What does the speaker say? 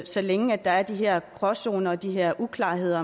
så længe der er de her gråzoner og de her uklarheder